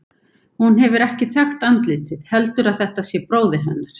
Hún hefur ekki þekkt andlitið, heldur að þetta sé bróðir hennar.